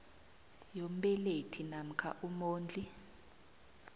yombelethi namkha umondli